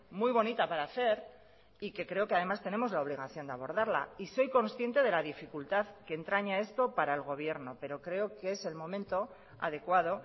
muy bonita para hacer y que creo que además tenemos la obligación de abordarla y soy consciente de la dificultad que entraña esto para el gobierno pero creo que es el momento adecuado